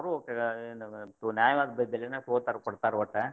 ಅವ್ರು ನ್ಯಾಯವಾದ ಬೇಲೆನ್ ತುಗೋತಾರು, ಕೊಡ್ತಾರು ಒಟ್ಟ.